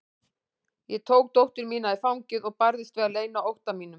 Ég tók dóttur mína í fangið og barðist við að leyna ótta mínum.